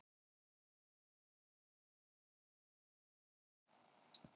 Fáninn er í hálfa stöng.